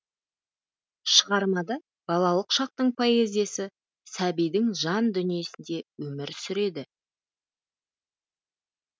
шығармада балалық шақтың поэзиясы сәбидің жан дүниесінде өмір сүреді